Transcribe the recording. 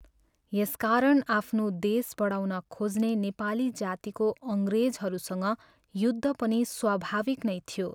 यस कारण आफ्नो देश बढाउन खोज्ने नेपाली जातिको अङ्ग्रेजहरूसँग युद्ध पर्नु स्वाभाविक नै थियो।